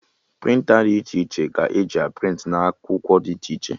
Prịnta dị iche iche ka eji a prịntị na akwụkwọ dị iche iche